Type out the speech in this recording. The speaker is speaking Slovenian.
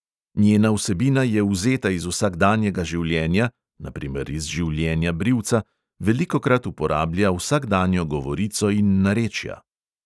Njena vsebina je vzeta iz vsakdanjega življenja (na primer iz življenja brivca), velikokrat uporablja vsakdanjo govorico in narečja.